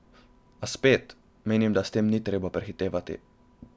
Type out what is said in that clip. A spet, menim, da s tem ni treba prehitevati.